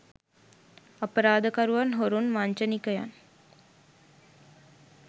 අපරාධකරුවන් හොරුන් වංචනිකයන්